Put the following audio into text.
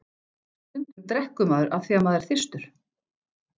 Stundum drekkur maður af því afþvíað maður er þyrstur.